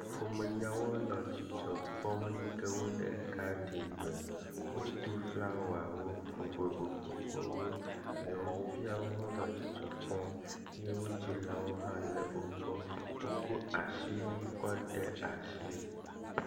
ƒome yawo le dzidzɔkpɔm eyime wóle gadin me wodó flawawo vovovovowo nyɔŋuviawo le dzidzɔkpɔm eye wó dzilawó le wó gbɔ wó kó asiwui kɔ́ de asi